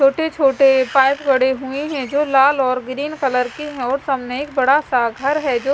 छोटे-छोटे पाइप गड़े हुए है जो लाल और ग्रीन कलर की है और सामने एक बड़ा सा घर है जो--